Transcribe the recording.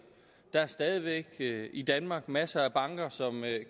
der er stadig væk i danmark masser af banker som